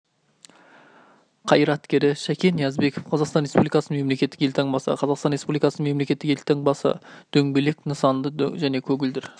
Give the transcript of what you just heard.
қайраткері шәкен ниязбеков қазақстан республикасының мемлекеттік елтаңбасы қазақстан республикасының мемлекеттік елтаңбасы дөңгелек нысанды және көгілдір